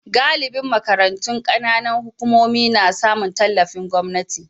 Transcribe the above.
Galibin makarantun kananan hukumomi na samun tallafin gwamnati.